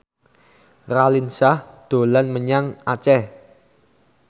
Raline Shah dolan menyang Aceh